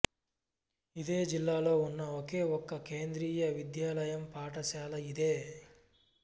ఇదే జిల్లాలో ఉన్న ఒకేఒక కేంద్రీయ విద్యాలయ పాఠశాల ఇదే